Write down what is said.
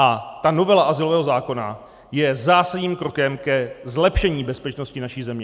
A ta novela azylového zákona je zásadním krokem ke zlepšení bezpečnosti naší země.